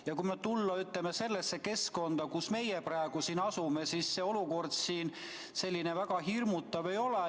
Ja kui tulla sellesse keskkonda, kus meie praegu asume, siis olukord väga hirmutav ei ole.